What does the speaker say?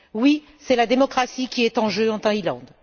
Oui, c'est la démocratie qui est en jeu en Thaïlande.